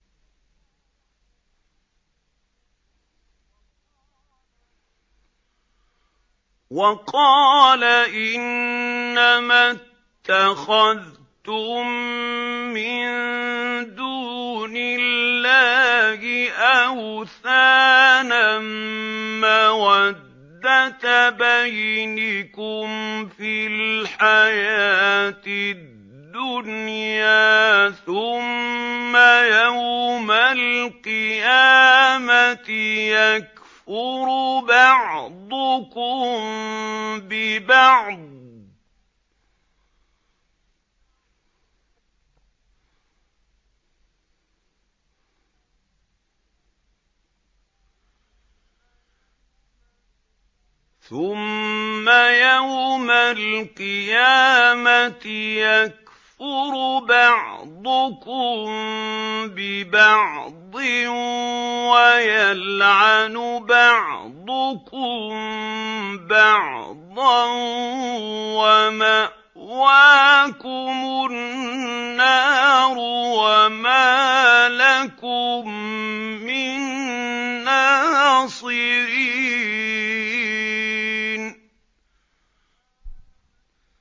وَقَالَ إِنَّمَا اتَّخَذْتُم مِّن دُونِ اللَّهِ أَوْثَانًا مَّوَدَّةَ بَيْنِكُمْ فِي الْحَيَاةِ الدُّنْيَا ۖ ثُمَّ يَوْمَ الْقِيَامَةِ يَكْفُرُ بَعْضُكُم بِبَعْضٍ وَيَلْعَنُ بَعْضُكُم بَعْضًا وَمَأْوَاكُمُ النَّارُ وَمَا لَكُم مِّن نَّاصِرِينَ